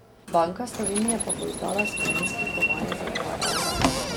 Banka Slovenije pa bo izdala spominski kovanec za dva evra.